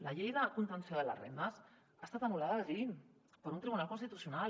la llei de contenció de les rendes ha estat anul·lada a berlín per un tribunal constitucional